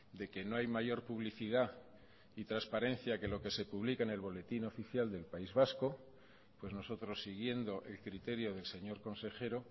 de que no hay mayor publicidad y transparencia que lo que se publica en el boletín oficial del país vasco pues nosotros siguiendo el criterio del señor consejero